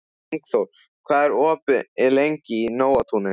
Ingiþór, hvað er opið lengi í Nóatúni?